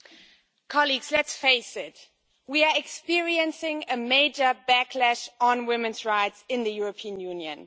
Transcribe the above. Madam President, colleagues, let's face it we are experiencing a major backlash on women's rights in the European Union.